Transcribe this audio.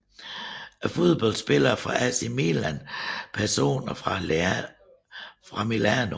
Fodboldspillere fra AC Milan Personer fra Milano